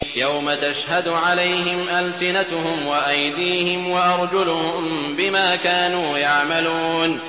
يَوْمَ تَشْهَدُ عَلَيْهِمْ أَلْسِنَتُهُمْ وَأَيْدِيهِمْ وَأَرْجُلُهُم بِمَا كَانُوا يَعْمَلُونَ